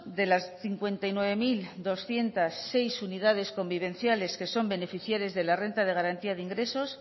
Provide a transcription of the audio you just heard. de las cincuenta y nueve mil doscientos seis unidades convivenciales que son beneficiarias de la renta de garantía de ingresos